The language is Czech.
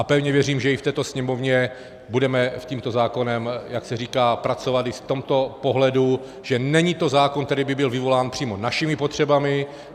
A pevně věřím, že i v této Sněmovně budeme s tímto zákonem, jak se říká, pracovat i v tomto pohledu, že to není zákon, který by byl vyvolán přímo našimi potřebami.